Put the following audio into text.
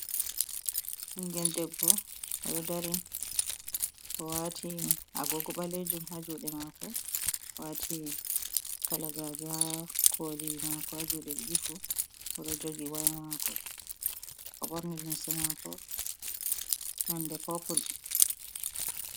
Ɓingel debbo oɗo dari owati agogo ɓalejum haa juɗe mako, waati kalagaji haa koli mako haa jude ɗiɗi fu, oɗo jogi waya maako, oɓorni limse maako nonde popul.